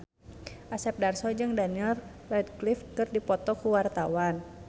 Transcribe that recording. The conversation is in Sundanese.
Asep Darso jeung Daniel Radcliffe keur dipoto ku wartawan